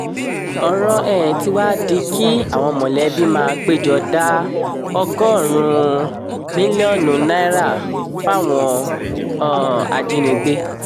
ọ̀rọ̀ um tí wàá di kí àwọn mọ̀lẹ́bí máa pé jọ da ọgọ́rùn-ún mílíọ̀nù náírà fáwọn um ajínigbé